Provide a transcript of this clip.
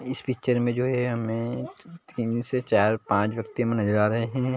इस पिक्चर में जो एमए तीन से चार पांच व्यक्ति माने जा रहै है।